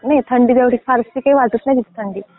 नाही थंडी तेवढी अशी फारशी वाटत नाही थांडी.